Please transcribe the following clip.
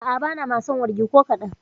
A'a, ba na samun wargi ko kaɗan.